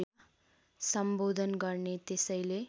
सम्बोधन गर्ने त्यसैले